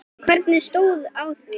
En hvernig stóð á því?